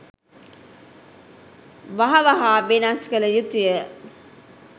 වහ වහා වෙනස් කළ යුතුය